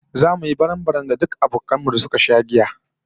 Zamu yi barambaram da duk abokan mu da suka sha giya